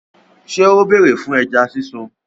Ṣé ó bèrè fún ẹja sísun?